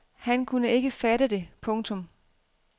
Han kunne ikke fatte det. punktum